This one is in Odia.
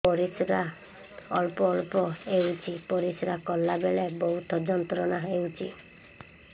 ପରିଶ୍ରା ଅଳ୍ପ ଅଳ୍ପ ହେଉଛି ପରିଶ୍ରା କଲା ବେଳେ ବହୁତ ଯନ୍ତ୍ରଣା ହେଉଛି